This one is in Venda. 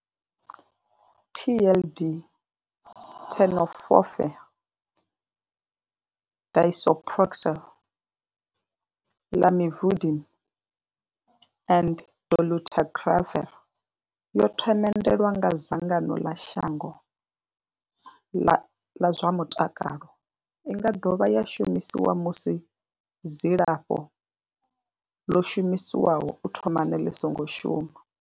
TLD Tenofovir disoproxil, Lamivudine and dolutegravir yo themendelwa nga dzangano ḽa shango ḽa zwa mutakalo. I nga dovha ya shumiswa musi dzilafho ḽo shumiswaho u thomani ḽi songo shuma.